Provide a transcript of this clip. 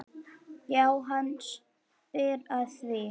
Já, hann spyr að því?